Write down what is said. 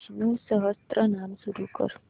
विष्णु सहस्त्रनाम सुरू कर